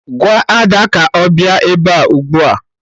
Gwa Ada ka ọ bịa ebe a ugbu a!